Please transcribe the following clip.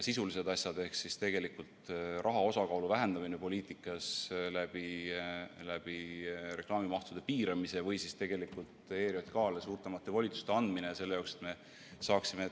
Sisulistes asjades, näiteks raha osakaalu vähendamine poliitikas läbi reklaamimahtude piiramise või siis ERJK-le suuremate volituste andmine, on.